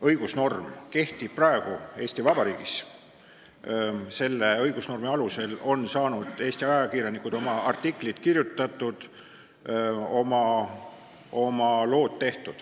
õigusnorm kehtib praegu Eesti Vabariigis ja selle õigusnormi alusel on Eesti ajakirjanikud saanud oma artiklid kirjutatud, oma lood tehtud.